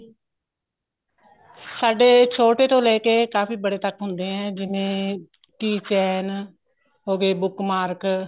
ਸਾਡੇ ਛੋਟੇ ਤੋਂ ਲੈ ਕੇ ਕਾਫੀ ਬੜੇ ਤੱਕ ਹੁੰਦੇ ਏ ਜਿਵੇਂ key chain ਹੋ ਗਏ book mark